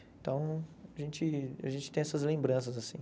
Então, a gente a gente tem essas lembranças, assim.